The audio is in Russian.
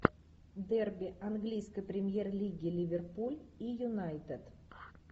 дерби английской премьер лиги ливерпуль и юнайтед